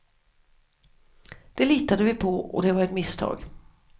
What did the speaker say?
Det litade vi på och det var ett misstag.